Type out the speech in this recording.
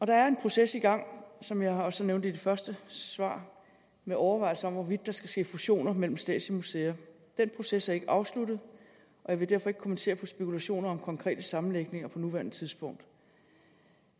der er en proces i gang som jeg også nævnte i mit første svar med overvejelser om hvorvidt der skal ske fusioner mellem statslige museer den proces er ikke afsluttet og jeg vil derfor ikke kommentere spekulationer om konkrete sammenlægninger på nuværende tidspunkt